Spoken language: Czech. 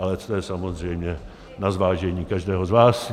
Ale to je samozřejmě na zvážení každého z vás.